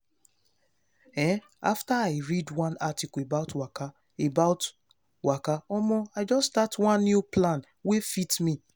ehn after i read one article about waka about waka omo i just start one new plan wey fit me.